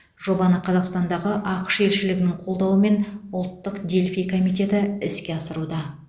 жобаны қазақстандағы ақш елшілігінің қолдауымен ұлттық дельфий комитеті іске асыруда